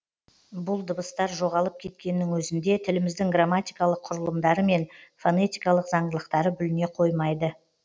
бұл дыбыстар жоғалып кеткеннің өзінде тіліміздің грамматикалық құрылымдары мен фонетикалық заңдылықтары бүліне қоймайды